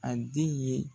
A den ye